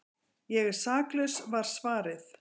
Ég er saklaus var svarið.